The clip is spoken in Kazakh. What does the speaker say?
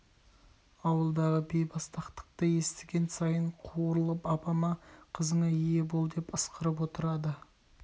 ауылдағы бейбастақтықты естіген сайын қуырылып апама қызыңа ие бол деп ысқырып отырады